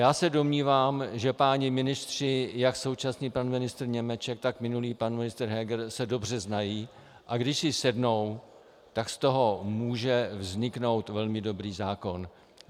Já se domnívám, že páni ministři, jak současný pan ministr Němeček, tak minulý pan ministr Heger se dobře znají, a když si sednou, tak z toho může vzniknout velmi dobrý zákon.